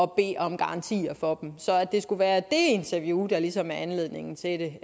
bede om garantier for dem så at det skulle være det interview der ligesom er anledningen til det